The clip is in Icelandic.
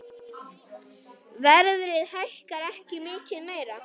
Verðið hækkar ekki mikið meira.